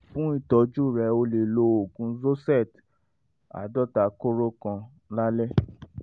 fún ìtọ́jú rẹ o lè lo ògùn zosert aadota kóró kan lálẹ́